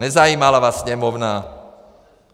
Nezajímala vás Sněmovna.